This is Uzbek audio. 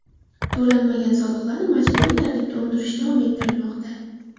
To‘lanmagan soliqlarni majburiy tartibda undirish davom ettirilmoqda.